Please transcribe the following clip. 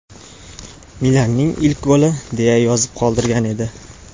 Milaning ilk goli!” deya yozib qoldirgan edi.